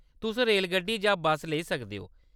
तुस रेलगड्डी जां बस्स लेई सकदे ओ।